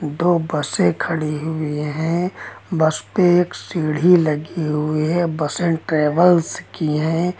दो बसे खड़ी हुई हैं। बस पे एक सीढ़ी लगी हुई है। बसे ट्रेवल्स की है।